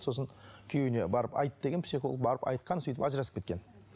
сосын күйеуіне барып айт деген психолог барып айтқан сөйтіп ажырасып кеткен